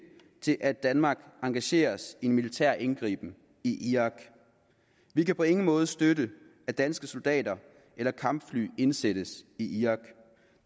til at danmark engagerer sig i en militær indgriben i irak vi kan på ingen måde støtte at danske soldater eller kampfly indsættes i irak